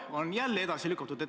On jälle edasi lükatud.